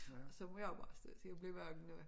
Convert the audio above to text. Og så må jeg jo bare se til at blive vækket